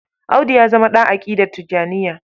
Audu ya zama ɗa aƙidar Tijjaniyya.